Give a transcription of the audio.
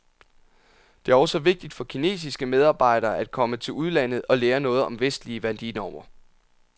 Det er også vigtigt for kinesiske medarbejdere at komme til udlandet og lære noget om vestlige værdinormer.